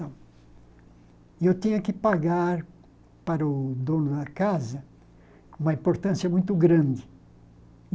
E eu tinha que pagar para o dono da casa uma importância muito grande.